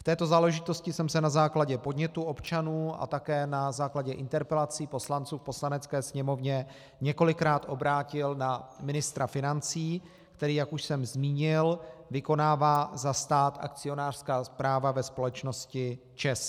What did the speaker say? V této záležitosti jsem se na základě podnětů občanů a také na základě interpelací poslanců v Poslanecké sněmovně několikrát obrátil na ministra financí, který, jak už jsem zmínil, vykonává za stát akcionářská práva ve společnosti ČEZ.